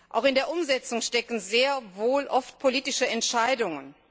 Auch in der Umsetzung stecken sehr wohl oft politische Entscheidungen.